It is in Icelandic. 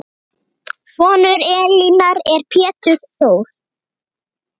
Sonur Elínar er Pétur Þór.